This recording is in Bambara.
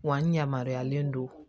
Wa n yamaruyalen don